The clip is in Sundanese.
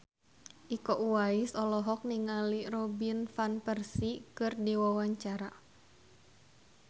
Iko Uwais olohok ningali Robin Van Persie keur diwawancara